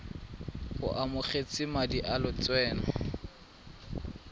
o amogetse madi a lotseno